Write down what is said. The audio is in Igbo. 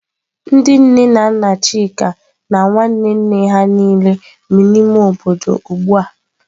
Ndị nne na nna Chika na nwanne nne ha niile bi n'ime obodo ugbu a.